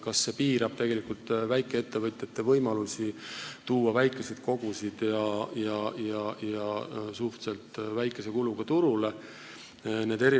Kas see piirab tegelikult väikeettevõtjate võimalusi tuua väikeseid koguseid turule suhteliselt väikese kuluga?